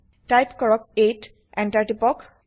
type কৰক 8 160 enter টিপক